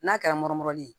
N'a kɛra morili ye